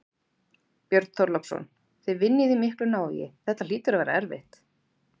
Björn Þorláksson: Þið vinnið í miklu návígi, þetta hlýtur að vera erfitt?